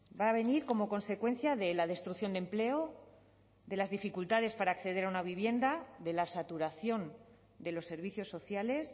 va a venir como consecuencia de la destrucción de empleo de las dificultades para acceder a una vivienda de la saturación de los servicios sociales